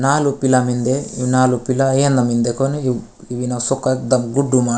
नालुक पीला मिन्दे इनालुक पीले एन मिन्दे कोन यू अशोक दब गुड्डू मा --